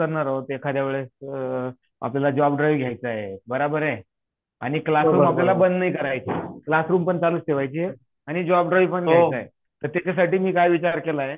लॅबचा area आहे आपण फक्त कश्यासाठी युज करणार आहोत एकाद्या वेळेस आपल्याला जॉब द्रराव घ्याच बराबर हे आणि क्लासरूमपण हे करायचं क्लासरूमपण चालूच ठेवायची आणि जॉब द्र्रावपण घ्याच हे प्रत्येकासाठी मी काय विचार केला आहे